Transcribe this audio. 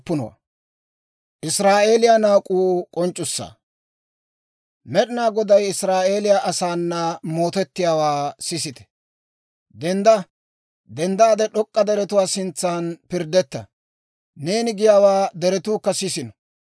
Med'ina Goday Israa'eeliyaa asaana mootettiyaawaa sisite. «Dendda! Denddaade d'ok'k'a deretuwaa sintsan pirddetta; neeni giyaawaa deretuukka sisino.